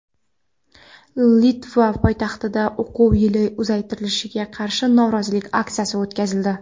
Litva poytaxtida o‘quv yili uzaytirilishiga qarshi norozilik aksiyasi o‘tkazildi.